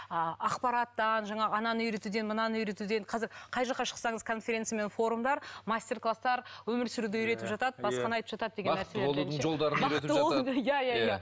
ааа ақпараттан жаңағы ананы үйретуден мынаны үйретуден қазір қай жаққа шықсаңыз конференция мен форумдар мастер кластар өмір сүруді үйретіп жатады басқаны айтып жатады деген нәрселерден ше бақытты болудың иә иә иә